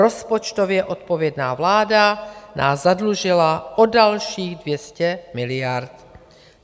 Rozpočtově odpovědná vláda nás zadlužila o dalších 200 miliard.